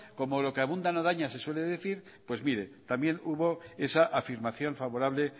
como lo que abunda no daña se suele decir pues mire también hubo esa afirmación favorable